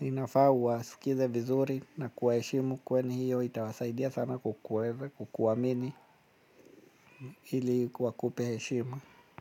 Inafaa uwasikilize vizuri, na kuwaheshimu kwani hiyo itawasaidia sana kukuamini hili wakupe heshima.